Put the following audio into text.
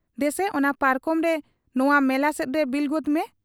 ᱫᱮᱥᱮ ᱚᱱᱟ ᱯᱟᱨᱠᱚᱢᱨᱮ ᱱᱚᱶᱟ ᱢᱮᱞᱟ ᱥᱮᱫᱨᱮ ᱵᱤᱞ ᱜᱚᱫᱽ ᱢᱮ ᱾